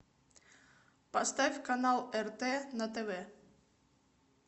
поставь канал рт на тв